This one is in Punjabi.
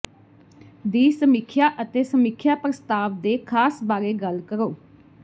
ਦੀ ਸਮੀਖਿਆ ਅਤੇ ਸਮੀਖਿਆ ਪ੍ਰਸਤਾਵ ਦੇ ਖਾਸ ਬਾਰੇ ਗੱਲ ਕਰੋ